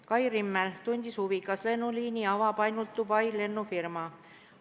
Kai Rimmel tundis huvi, kas lennuliini avab ainult Dubai lennufirma.